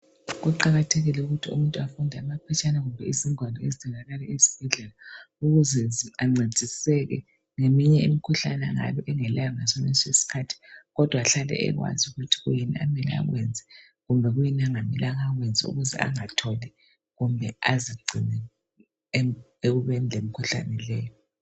Kuqakathekile ukuthi umuntu afunde amaphetshana kumbe izingwalo ezitholakala esibhedlela. Ukuze ancediseke ngeminye imikhuhlane, angabe engalayo ngasonalesi isikhathi, kodwa ahlale ekwazi ukuthi kuyini okumele akwenze , loba kuyini angamelanga akwenze..Ukuze angayiitholi, kumbe azigcine ekubeni lemikhuhlane le..